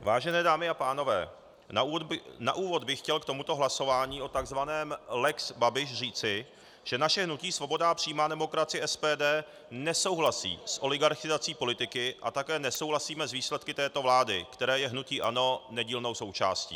Vážené dámy a pánové, na úvod bych chtěl k tomuto hlasování o tzv. lex Babiš říci, že naše hnutí Svoboda a přímá demokracie, SPD, nesouhlasí s oligarchizací politiky a také nesouhlasíme s výsledky této vlády, které je hnutí ANO nedílnou součástí.